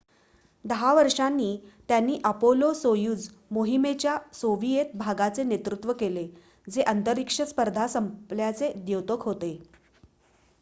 10 वर्षांनी त्यांनी अपोलो-सोयुझ मोहिमेच्या सोविएत भागाचे नेतृत्व केले जे अंतरिक्ष स्पर्धा संपल्याचे द्योतक होते